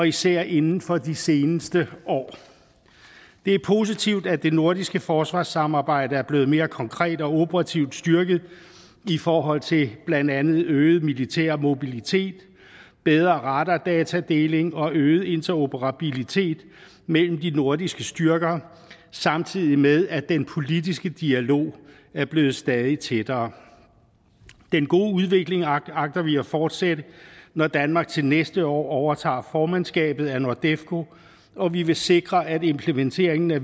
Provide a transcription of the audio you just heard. især inden for de seneste år det er positivt at det nordiske forsvarssamarbejde er blevet mere konkret og operativt styrket i forhold til blandt andet øget militær mobilitet bedre radardatadeling og øget interoperabilitet mellem de nordiske styrker samtidig med at den politiske dialog er blevet stadig tættere den gode udvikling agter vi at fortsætte når danmark til næste år overtager formandskabet af nordefco og vi vil sikre at implementeringen af